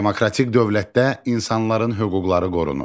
Demokratik dövlətdə insanların hüquqları qorunur.